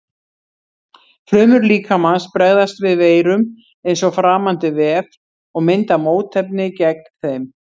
Frumur líkamans bregðast við veirum eins og framandi vef og mynda mótefni gegn þeim.